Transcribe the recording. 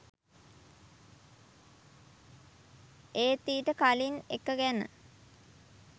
ඒත් ඊට කලින් එක ගැන